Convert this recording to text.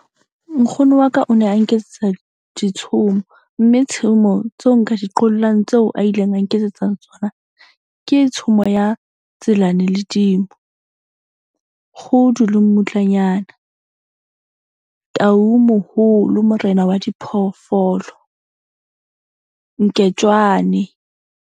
Nkgono wa ka o ne a nketsetsa ditshomo. Mme tshomo tseo nka di qollang tseo a ileng a nketsetsa tsona. Ke tshomo ya Tselane le Dimo, Kgudu le Mmutlanyana, Tau Moholo Morena wa diphoofolo, Nketswane.